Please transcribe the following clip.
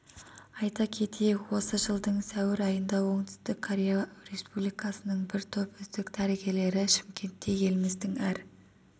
айта кетейік осы жылдың сәуір айында оңтүстік корея республикасының бір топ үздік дәрігерлері шымкентте еліміздің әр